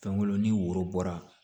Fɛnko ni woro bɔra